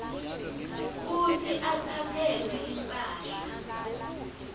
kutsi atsatselwe imphahla